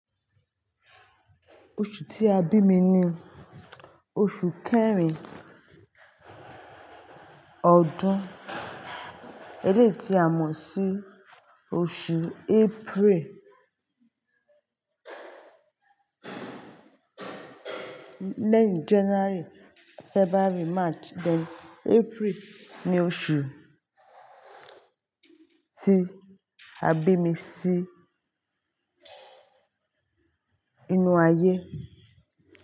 Oṣù tí a bí mi ni oṣù kẹrin ọdún, eléyi ti a mọ̀ sí oṣù April. Lẹ́yìn January, February, March, then April ni oṣù tí a bí mi sí inú ayé.